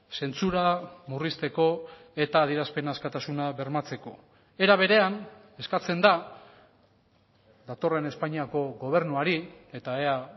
zentsura murrizteko eta adierazpen askatasuna bermatzeko era berean eskatzen da datorren espainiako gobernuari eta ea